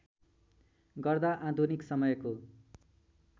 गर्दा आधुनिक समयको